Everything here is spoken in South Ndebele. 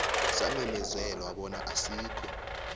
samemezelwa bona asikho